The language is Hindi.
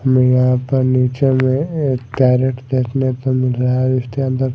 हमें यहां पर नीचे में एक कैरेट देखने पर मिल रहा है इसके अंदर--